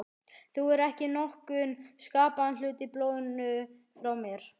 Þú hefur ekki nokkurn skapaðan hlut í blóðinu frá mér.